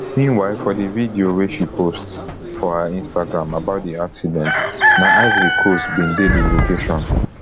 meanwhile for di video wey she post for her instagram about di accident na ivory coast bin dey di location